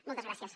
moltes gràcies